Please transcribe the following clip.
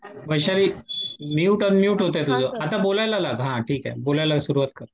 Vaishali mute unmute होतंय तुझं हां आता बोलायला लाग हां ठीक आहे बोलायला सुरुवात कर.